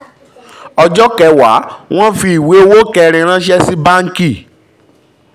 ọjọ́ kẹwàá: wọ́n fi ìwé owó kẹ́rin ranṣẹ́ sí báńkì